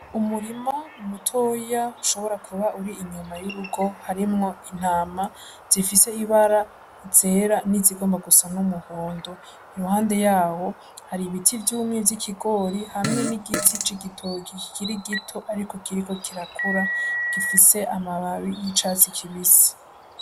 Umurima mutoya ushobora kuba uri inyuma y'urugo harimwo intama zifise ibara zera n'izigomba gusa n'umuhondo. Iruhande yaho hari ibiti vyimye vy'ikigori, hamwe n'igiti c'igitoki kikiri gito ariko kiriko kirakura, gifise amababi y'icatsi kibisi.